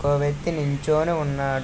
ఇంకో వ్యక్తి నించొని ఉన్నాడు --